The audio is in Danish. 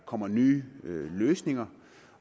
kommer nye løsninger